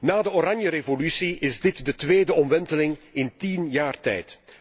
Na de Oranjerevolutie is dit de tweede omwenteling in tien jaar tijd.